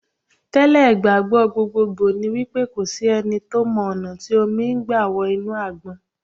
Tẹ́ lẹ̀, ìgbàgbọ́ gbogbogbò ni wípé kò sí ẹni tó mọ ọ̀nà tí omi gbà wọ inú Àgbọn.